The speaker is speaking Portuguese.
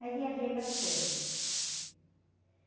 Mas viajei bastante.